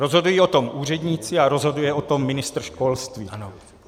Rozhodují o tom úředníci a rozhoduje o tom ministr školství.